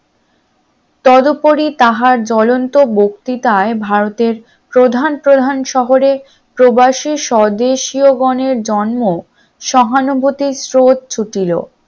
তদুপরি তাহার জ্বলন্ত বক্তিতায় ভারতের প্রধান প্রধান শহরে প্রবাসী স্বদেশীও গনের জন্ম সহানুভূতিক স্রোত ছুটিলো